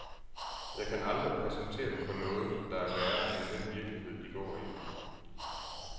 Jeg kan aldrig præsentere dem for noget, der er værre end den virkelighed, de går i.